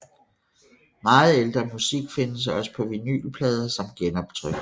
Meget ældre musik findes også på vinylplader som genoptryk